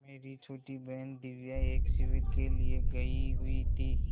मेरी छोटी बहन दिव्या एक शिविर के लिए गयी हुई थी